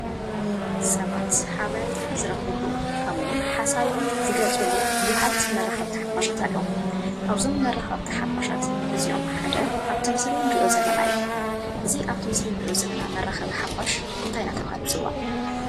ሰባት ሓበሬታ ንዝረክቡሉ ከምኡ እውን ሓሳቦም ዝገልፅሉ ብዛሓት መራከብቲ ሓፋሻት አለው፡፡ ካበ እዞም መራክብቲ ሓፋሻት እዚኦም ሓደ አብቲ ምሰሊ እንሪኦ ዘለና እዩ፡፡ እዚ አበቲ ምስሊ እንሪኦ ዘለና መራከቢ ሓፋሽ እንታይ እናተባህለ ይፅዋዕ?